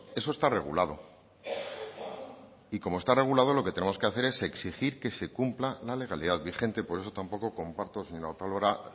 eso está regulado y como está regulado lo que tenemos que hacer es exigir que se cumpla la legalidad vigente por eso tampoco comparto señora otalora